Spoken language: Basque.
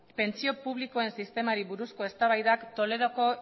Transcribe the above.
pentsio publikoen sistemari buruzko eztabaidak toledoko